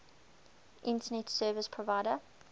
internet service provider